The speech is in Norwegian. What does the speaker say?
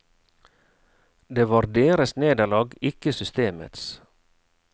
Det var deres nederlag, ikke systemets.